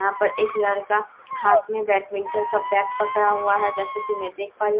यहाँ पर एक लड़का हाथ में बैडमिंटन का बैक पकड़ा हुआ है जैसा की मैं देख पा रही हूँ --